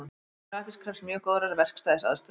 Mótun grafíts krefst mjög góðrar verkstæðisaðstöðu.